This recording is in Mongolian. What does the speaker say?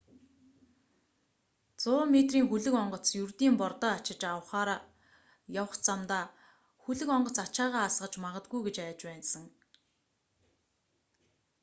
100 метрийн хөлөг онгоц ердийн бордоо ачиж авахаар явах замдаа хөлөг онгоц ачаагаа асгаж магадгүй гэж айж байсан